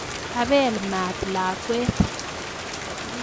Kabel maat lakwet